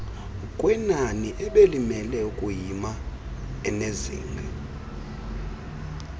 kwenaniebelimele ukuyima enezinga